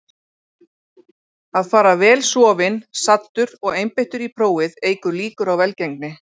Að fara vel sofinn, saddur og einbeittur í prófið eykur líkur á velgengni.